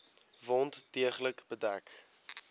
wond deeglik bedek